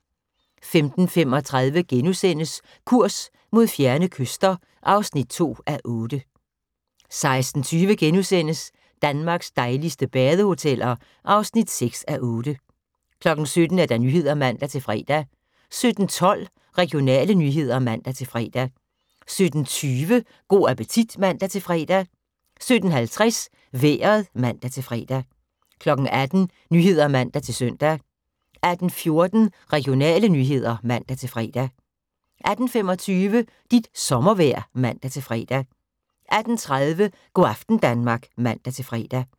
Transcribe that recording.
15:35: Kurs mod fjerne kyster (2:8)* 16:20: Danmarks dejligste badehoteller (6:8)* 17:00: Nyhederne (man-fre) 17:12: Regionale nyheder (man-fre) 17:20: Go' appetit (man-fre) 17:50: Vejret (man-fre) 18:00: Nyhederne (man-søn) 18:14: Regionale nyheder (man-fre) 18:25: Dit sommervejr (man-fre) 18:30: Go' aften Danmark (man-fre)